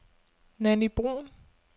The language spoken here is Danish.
Nanny Brun